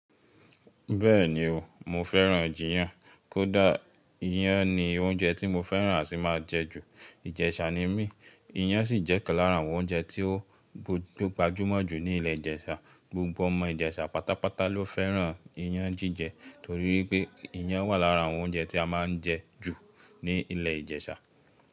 Bẹ́ẹ̀ni o, mo fẹ́ran jiyàn. Kódà iyán ni oúnjẹ tí mo fẹ́ran àtì má a jẹ jù. Ìjẹ̀shà ni mí iyán sì jẹ́ ìkan lára àwọn oúnjẹ tí ó gbajúmọ̀ jù ní ilẹ̀ Ìlẹ̀shà. Gbogbo ọmọ ìjẹ̀sà pátápátá ló fẹ́ran iyán jíjẹ torí wípé iyán wà lára àwọn oúnjẹ tí a má ń jẹ jù ní ilẹ̀ ìjẹ̀sà.